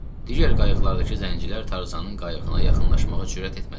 Digər qayıqlardakı zəngilər Tarzanın qayığına yaxınlaşmağa cürət etmədilər.